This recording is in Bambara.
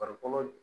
Farikolo